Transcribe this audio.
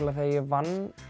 þegar ég vann